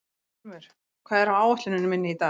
Ilmur, hvað er á áætluninni minni í dag?